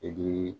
I k'i